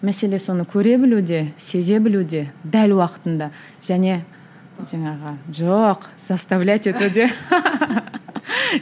мәселе соны көре білуде сезе білуде дәл уақытында және жаңағы жоқ заставлять етуде